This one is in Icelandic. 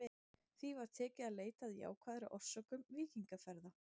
Því var tekið að leita að jákvæðari orsökum víkingaferða.